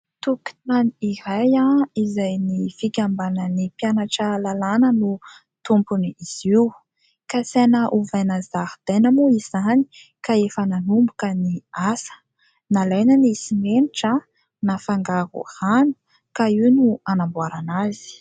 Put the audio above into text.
Tokotany iray izay ny fikambanan'ny mpianatra lalàna no tompony izy io, kasaina ovaina zaridaina moa izany ka efa nanomboka ny asa, nalaina ny simenitra nafangaro rano ka io no anamboarana azy.